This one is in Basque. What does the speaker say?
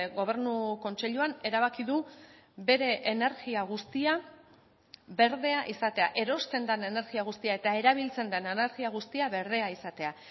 gobernu kontseiluan erabaki du bere energia guztia berdea izatea erosten den energia guztia eta erabiltzen den energia guztia berdea izatea